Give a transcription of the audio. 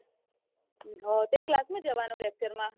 તો એ class માં જવાનું lecture માં